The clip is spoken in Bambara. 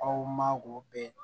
Aw ma k'o bɛɛ